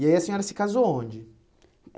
E aí a senhora se casou onde?